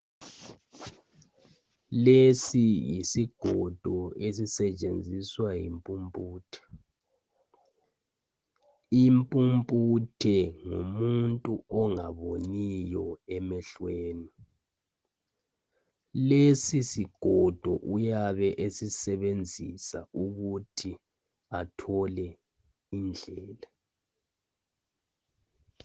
Lesi yisigodo esisentshenziswa yimpuputhe. Impuputhe ngumuntu ongaboniyo emehlweni. Lesi sigodo uyabe eseisebenzisa ukuthi athole indlela.